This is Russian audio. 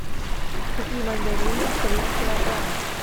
купи мандарины три килограмма